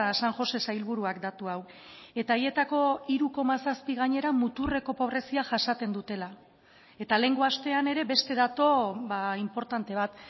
san josé sailburuak datu hau eta haietako hiru koma zazpi gainera muturreko pobrezia jasaten dutela eta lehengo astean ere beste datu inportante bat